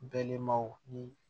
Bɛlɛmaw ni